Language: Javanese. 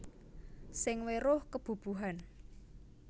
Sing weruh kebubuhan